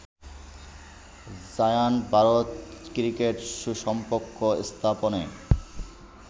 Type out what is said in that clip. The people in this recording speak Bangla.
জায়ান্ট ভারত ক্রিকেট সুসম্পর্ক স্থাপনে